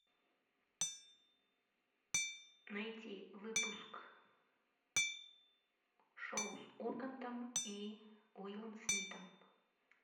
найти выпуск шоу с ургантом и уиллом смитом